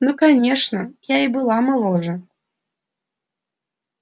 ну конечно и я была моложе